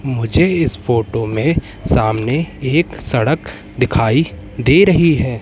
मुझे इस फोटो में सामने एक सड़क दिखाई दे रही है।